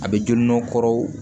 A bɛ joli nɔ kɔrɔ